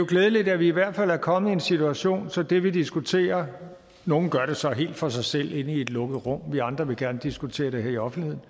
glædeligt at vi i hvert fald er kommet i en situation så det vi diskuterer nogle gør det så helt for sig selv inde i et lukket rum vi andre vil gerne diskutere det her i offentligheden